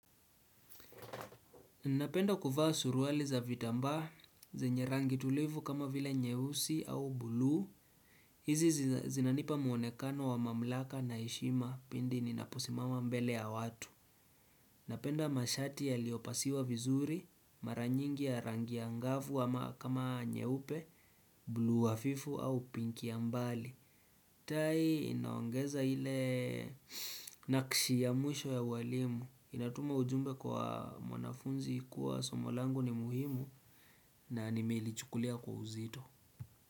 Napenda kuvaa suruali za vitamba, zenye rangi tulivu kama vile nyeusi au bulu, hizi zinanipa muonekano wa mamlaka na heshima pindi ninaposimama mbele ya watu. Napenda mashati yaliopasiwa vizuri, mara nyingi ya rangi angavu ama kama nyeupe, bulu hafifu au pinki ya mbali. Tai inaongeza ile nakishi ya mwisho ya walimu Inatuma ujumbe kwa mwanafunzi kuwa somo langu ni muhimu na nimelichukulia kwa uzito.